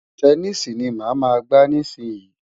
Tẹníìsì ni màá máa gbá nísìnyín.